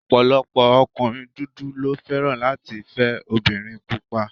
Ọ̀pọ̀lọpọ̀ ọkùnrin dúdú ló fẹ́ràn láti fẹ́ obìnrin pupa